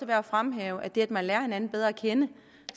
værd at fremhæve at det at man lærer hinanden bedre at kende